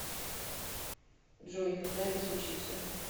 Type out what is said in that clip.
джой и когда это случится